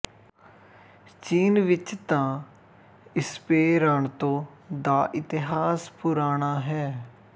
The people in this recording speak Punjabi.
ਚੀਨ ਵਿੱਚ ਤਾਂ ਇਸਪੇਰਾਨਤੋ ਦਾ ਇਤਿਹਾਸ ਪੁਰਾਣਾ ਹੈ